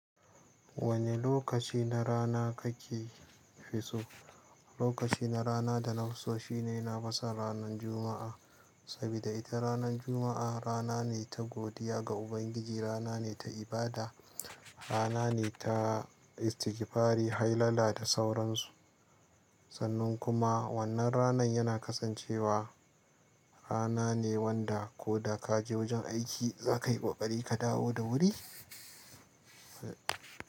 Wane lokaci na rana kake fisu? Lokaci na rana da na fi so shine na fison ranan Juma'a, sabida ita ranan Juma'a rana ne ta godiya ga Ubangiji, rana ne ta ibada, rana ne ta istigifari, hailala da sauransu. Sannan kuma wannan ranan yana kasancewa rana ne wanda ko da ka je wajen aiki, za ka yi ƙoƙari ka dawo da wuri.